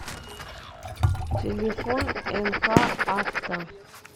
телефон нк авто